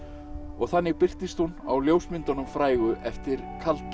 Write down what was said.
þannig birtist hún á ljósmyndunum frægu eftir